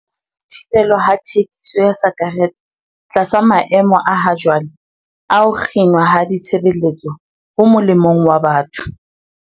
O re ho thibelwa ha thekiso ya sakerete tlasa maemo a hajwale a ho kginwa ha ditshebeletso ho molemong wa batho.